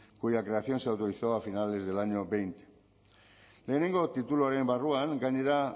cuya creación se autorizaba a finales del año veinte batgarren tituluaren barruan gainera